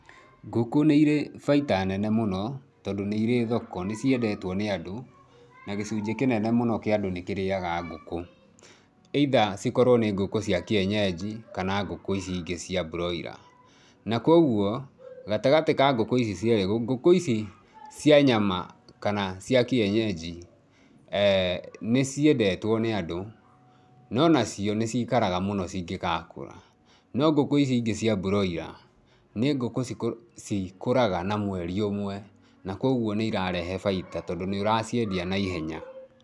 Ngũkũ nĩ irĩ baita nene mũno tondũ nĩ irĩ thoko, nĩ ciendetwo nĩ andũ na gĩcunjĩ kĩnene mũno kĩa andũ nĩ kĩrĩaga ngũkũ. Either cikorwo nĩ ngũkũ cia kienyeji kana ngũkũ ici ingĩ cia broiler. Na kwoguo, gatagatĩ ka ngũkũ ici cierĩ, ngũkũ ici cia nyama kana cia kienyeji nĩ ciendetwo nĩ andũ, no nacio nĩ ciikaraga mũno cingĩgakũra. No ngũkũ ici ingĩ cia broiler nĩ ngũkũ cikũraga na mweri ũmwe, na kwoguo nĩ irarehe baita tondũ nĩ ũraciendia naihenya.